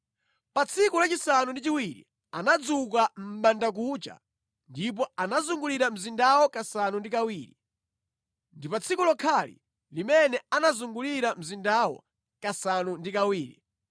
Pa tsiku lachisanu ndi chiwiri, anadzuka mʼbandakucha ndipo anazungulira mzindawo kasanu ndi kawiri. Ndi pa tsiku lokhali limene anazungulira mzindawu kasanu ndi kawiri.